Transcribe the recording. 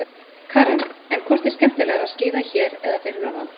Karen: En hvort er skemmtilegra að skíða hér eða fyrir norðan?